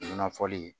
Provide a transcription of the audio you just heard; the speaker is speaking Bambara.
Nɔnɔ fɔli